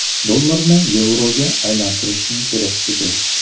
Dollarni yevroga aylantirishim kerak edi.